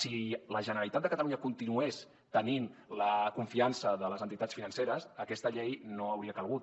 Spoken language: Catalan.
si la generalitat de catalunya continués tenint la confiança de les entitats financeres aquesta llei no hauria calgut